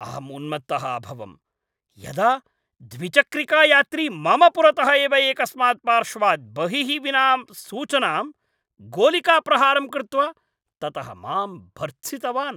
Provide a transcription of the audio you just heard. अहं उन्मत्तः अभवम् यदा द्विचक्रिकायात्री मम पुरतः एव एकस्मात् पार्श्वात् बहिः विना सूचनां गोलिकाप्रहारं कृत्वा ततः मां भर्त्सितवान्।